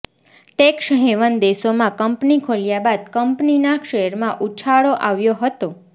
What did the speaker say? tax haven દેશોમાં company ખોલ્યા બાદ કંપનીના શેરમાં ઉછાળો આવ્યો હતો